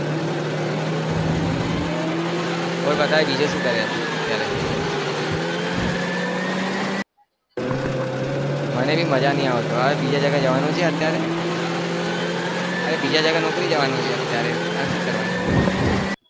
કોઈ અત્યારે છુ કરે મને મજા નઈ આવતું બીજે જગ્યા અત્યારે નોકરી જવાનું છે અત્યારે